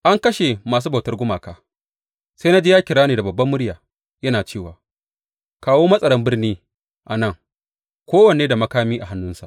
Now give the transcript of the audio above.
An kashe masu bautar gumaka Sai na ji ya yi kira da babbar murya yana cewa, Kawo matsaran birni a nan, kowanne da makami a hannunsa.